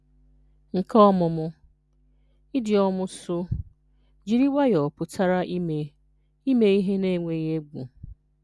Nke Ọmụmụ: Idiọmụsu: Jiri nwayọọ pụtara ime ihe ihe na-enweghị égwù.